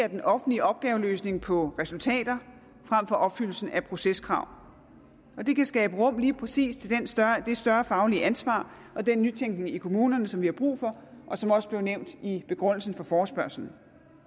den offentlige opgaveløsning på resultater frem for opfyldelsen af proceskrav det kan skabe rum til lige præcis det større faglige ansvar og den nytænkning i kommunerne som vi har brug for og som også blev nævnt i begrundelsen for forespørgslen